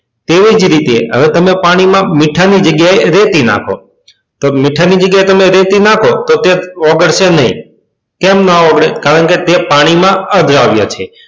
તેમાં તેવી જ રીતે હવે તમે પાણીમાં મીઠાની જગ્યાએ રેતી નાખો તો મીઠાની જગ્યાએ તમે રેતી નાખો તો તે ઓગળશે નહીં કેમ ના ઓગળી કારણકે તે પાણીમાં અદ્રાવ્ય છે.